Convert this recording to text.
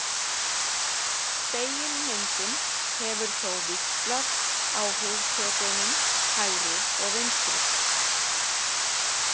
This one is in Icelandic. Spegilmyndin hefur þó víxlað á hugtökunum hægri og vinstri.